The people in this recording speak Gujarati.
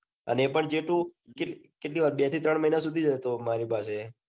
અને એ પણ જેતું કેટલી કેટલી વાર બે જથી ત્રણ મહિના સુધી જ હતો મારી પાસે.